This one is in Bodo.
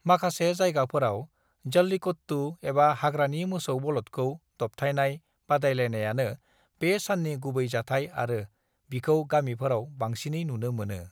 "माखासे जायगाफोराव, जल्लीकट्टू, एबा हाग्रानि मोसौ बलदखौ दबथाइनाय बादायलायनायानो बे साननि गुबै जाथाइ आरो बिखौ गामिफोराव बांसिनै नुनो मोनो।"